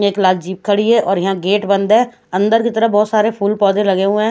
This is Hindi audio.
ये एक लाल जीप खड़ी है और यहाँ गेट बंद है अंदर की तरफ बहत सारे फूल पौधे लगे हुए है--